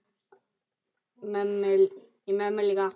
Í Mömmu klikk!